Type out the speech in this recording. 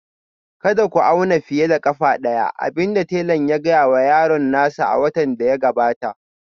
Kada ku auna fiye da ƙafa ɗaya, abin da tela ya gaya wa yaron nasa a watan da ya gabata